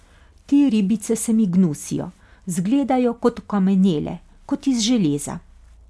Te ribice se mi gnusijo, zgledajo kot okamnele, kot iz železa.